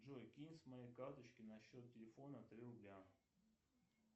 джой кинь с моей карточки на счет телефона три рубля